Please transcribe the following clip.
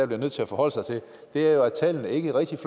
bliver nødt til forholde sig til er jo at tallene ikke rigtigt